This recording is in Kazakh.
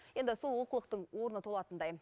енді сол олқылықтың орны толатындай